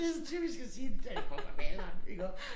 Det så typisk at sige der det kommer med alderen iggå